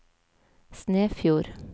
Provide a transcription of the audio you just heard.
Snefjord